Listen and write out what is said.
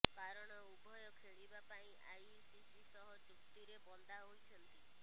କାରଣ ଉଭୟ ଖେଳିବା ପାଇଁ ଆଇିସିସି ସହ ଚୁକ୍ତିରେ ବନ୍ଧା ହୋଇଛନ୍ତି